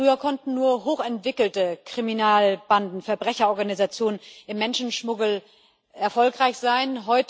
Früher konnten nur hochentwickelte Kriminalbanden, Verbrecherorganisationen im Menschenschmuggel erfolgreich sein.